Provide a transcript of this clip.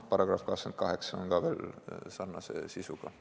Sarnase sisuga on ka veel § 28.